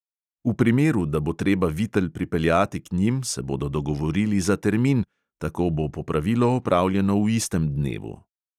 V primeru, da bo treba vitel pripeljati k njim, se bodo dogovorili za termin, tako bo popravilo opravljeno v istem dnevu.